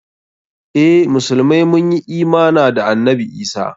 Eh, musulmai mun yi imana da annabi Isah.